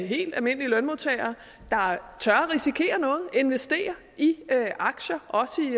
helt almindelige lønmodtagere der tør risikere noget der tør investere i aktier også i